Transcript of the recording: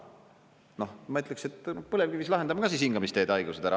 " Noh, ma ütleksin, et põlevkivis lahendame siis ka hingamisteede haigused ära.